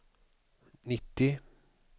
nittio